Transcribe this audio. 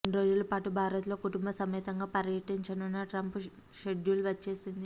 రెండు రోజుల పాటు భారత్లో కుటుంబ సమేతంగా పర్యటించనున్న ట్రంప్ షెడ్యూల్ వచ్చేసింది